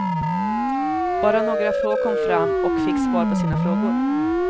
Bara några få kom fram och fick svar på sina frågor.